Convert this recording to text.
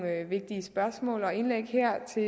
vigtige spørgsmål og indlæg her til